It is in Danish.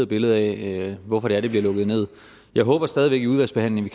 billede af hvorfor det er at det bliver lukket nederst jeg håber stadig væk i udvalgsbehandlingen